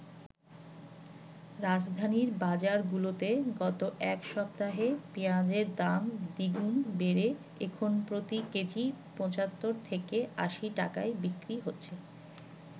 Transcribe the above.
রাজধানীর বাজারগুলোতে গত এক সপ্তাহে পেঁয়াজের দাম দ্বিগুণ বেড়ে এখন প্রতি কেজি ৭৫ থেকে ৮০ টাকায় বিক্রি হচ্ছে।